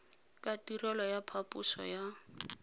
ka tirelo ya phaposo ya